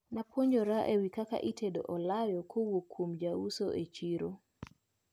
Napuonjra ewi kaka itedo olayo kowuok kuom jauso e chiro.